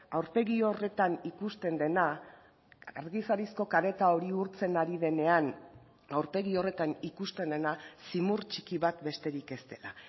aurpegi horretan ikusten dena argizarizko kareta hori urtzen ari denean aurpegi horretan ikusten dena zimur txiki bat besterik ez dela